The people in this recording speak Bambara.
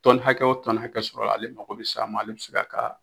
Tɔni hakɛ o tɔni hakɛ sɔrɔ la ale mako be se a ma ale be se k'a ka